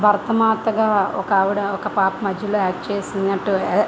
భారత మాత గ ఒక ఆవిడ ఒక పాప మధ్యలో ఆక్ట్ చేసినట్టు అదే--